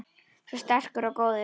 Svo sterkur og góður.